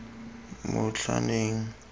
motlhaneng